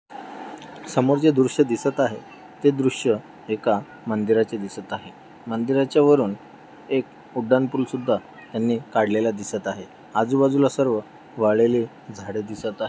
समोर जे दृश्य दिसत आहे ते दृश्य एका मंदिराचे दिसत आहे. मंदिराच्या वरुन एक उड्डाण पूल सुद्धा त्यांनी काढलेला दिसत आहे. आजूबाजूला सर्व वाढलेले झाड दिसत आहे.